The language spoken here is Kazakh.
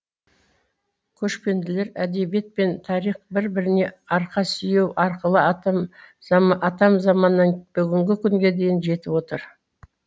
көшпенділер әдебиет пен тарих бір біріне арқа сүйеу арқылы атам заманнан бүгінгі күнге дейін жетіп отыр